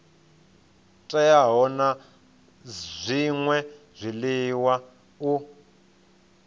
teaho na zwṅwe zwiḽiwa u